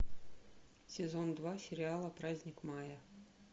сезон два сериала праздник мая